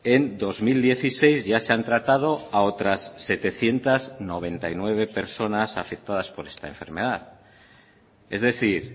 en dos mil dieciséis ya se han tratado a otras setecientos noventa y nueve personas afectadas por esta enfermedad es decir